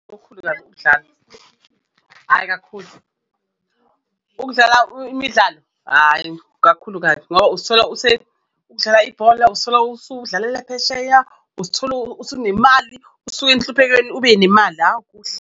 Hhayi kakhulu ukudlala imidlalo ayi kakhulu kabi ngoba usuthola udlala ibhola, usithola usudlalela phesheya uzithola usunemali usuke enhluphekweni ube nemali kuhle.